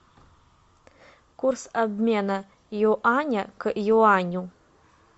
курс обмена юаня к юаню